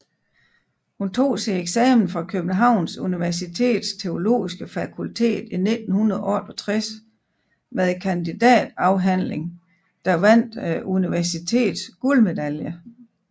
Hun tog sin eksamen fra Københavns Universitets Teologiske Fakultet i 1968 med et kandidatafhandling der vandt universitets guldmedalje